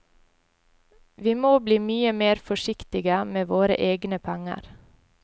Vi må bli mye mer forsiktige med våre egne penger.